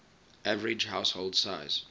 average household size